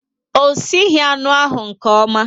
O sighi anụ ahu nke ọma